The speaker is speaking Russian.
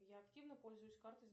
я активно пользуюсь картой